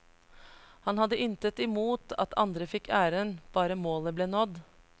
Han hadde intet imot at andre fikk æren, bare målet ble nådd.